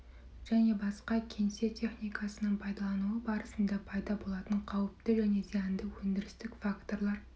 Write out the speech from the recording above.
және басқа кеңсе техникасының пайдалануы барысында пайда болатын қауіпті және зиянды өндірістік факторлар